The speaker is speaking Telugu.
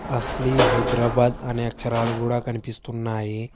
అసలీ హైదరాబాద్ అనే అక్షరాలు కూడా కనిపిస్తున్నాయి.